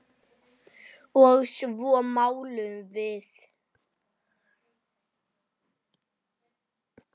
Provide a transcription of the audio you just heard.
Og svo máluðum við.